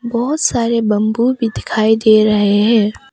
बहोत सारे बंबू भी दिखाई दे रहे हैं।